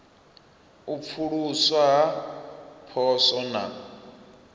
u pfuluswa ha poswo na